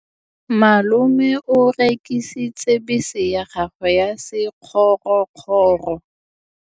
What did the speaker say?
Malome o rekisitse bese ya gagwe ya sekgorokgoro.